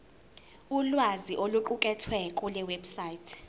ulwazi oluqukethwe kulewebsite